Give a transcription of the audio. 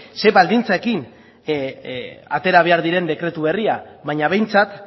zein baldintzekin atera behar diren dekretu berria baina behintzat